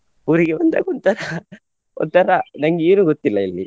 ಅಂದ್ರೆ ಊರಿಗೆ ಬಂದಾಗ ಒಂಥರಾ ಒಂಥರಾ ನಂಗೆ ಏನು ಗೊತ್ತಿಲ್ಲ ಇಲ್ಲಿ.